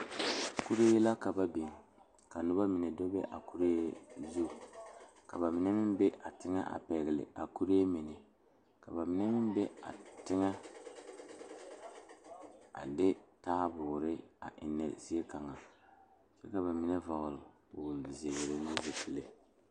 Kori Zie la ka ba biŋ kūūne daga ka bamine are leri ba nuure ka bamine meŋ sule ba zu kyɛ ka moɔre ne teere are gɔgle ba.